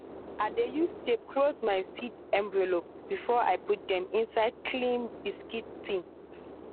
i dey use tape close my seed envelope before i put dem inside clean biscuit tin.